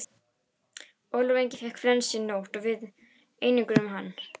Ólafur Ingi fékk flensu í nótt og við einangruðum hann.